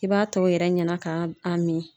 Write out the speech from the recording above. I b'a t'o yɛrɛ ɲɛna ka a min.